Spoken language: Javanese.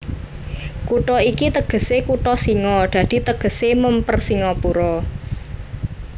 Kutha iki tegesé kutha singa dadi tegesé mèmper Singapura